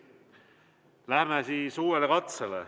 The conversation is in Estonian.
Läheme siis uuele katsele.